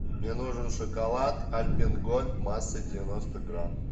мне нужен шоколад альпен гольд массой девяносто грамм